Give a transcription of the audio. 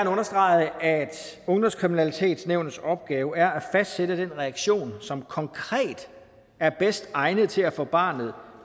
understrege at ungdomskriminalitetsnævnets opgave er at fastsætte den reaktion som konkret er bedst egnet til at få barnet